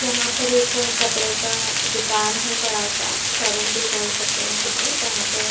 यहाँ पर एक कपडे का दुकान है बड़ा सा शोरूम भी बोल सकते है जिसे जहाँ पे --